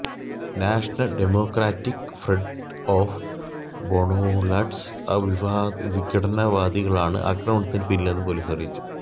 national Democratic Front of Bodoland വിഘടനവാദികളാണ് ആക്രമണത്തിന് പിന്നിലെന്ന് പൊലീസ് അറിയിച്ചു